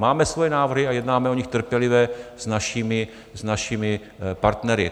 Máme svoje návrhy a jednáme o nich trpělivě s našimi partnery.